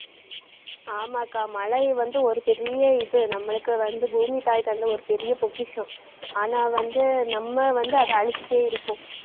ஆமாக்கா மழை வந்து ஒரு பெரிய இது. நம்மளுக்கு வந்து, பூமித்தாய் தந்த ஒரு பெரிய பொக்கிஷம் ஆனா வந்து நம்ம வந்து அதை அழிச்சிட்டே இருக்கோம்.